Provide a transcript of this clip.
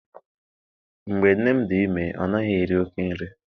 Mgbe nne m dị ime, ọ naghị eri oké nri.